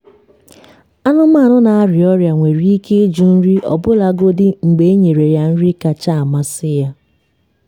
anụmanụ na-arịa ọrịa nwere ike ịjụ nri ọbụlagodi mgbe enyere ya nri kacha amasị ya.